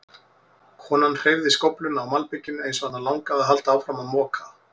Konan hreyfði skófluna á malbikinu eins og hana langaði að halda áfram að moka.